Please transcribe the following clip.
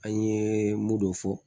An ye mun dɔ fɔ